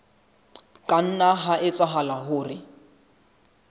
ka nna ha etsahala hore